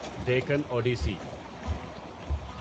Deccan Odissi